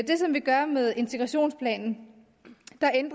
som vi gør med integrationsplanen